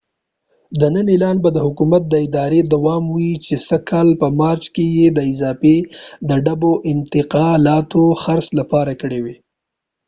د نن اعلان به د حکومت د ارادي دوام وي چې سږ کال په مارچ کې یې د اضافی ډبو د انتقالاتو د خرڅ لپاره کړي و